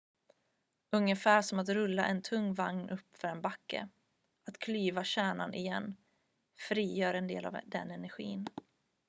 ungefär som att rulla en tung vagn uppför en backe att klyva kärnan igen frigör en del av den energin